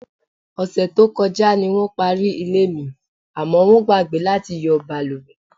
Ò̩sè̩ tó ko̩já ni wó̩n parí ilé mi, àmó̩ wó̩n gbàgbé láti yo̩ balùwè.